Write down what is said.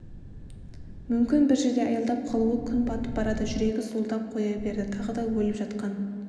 мүмкін бір жерде аялдап қалуы күн батып барады жүрегі зуылдап қоя берді тағы да өліп жатқан